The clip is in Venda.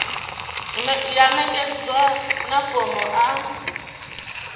ya ṋekedzwa na fomo a